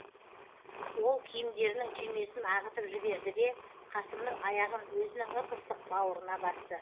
ол киімдерінің түймесін ағытып жіберді де қасымның аяғын өзінің ып ыстық бауырына басты